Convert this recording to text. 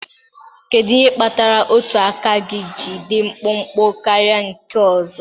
Kedu ihe kpatara otu aka gị ji dị mkpụmkpụ karịa nke ọzọ?